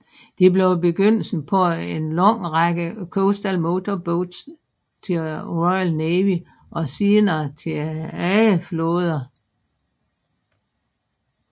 Det blev begyndelsen på en lang række Coastal Motor Boats til Royal Navy og senere til andre flåder